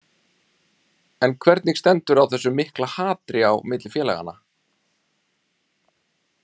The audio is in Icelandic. En hvernig stendur á þessu mikla hatri á milli félaganna?